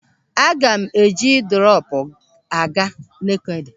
Aga m eji drọpụ aga Nekede.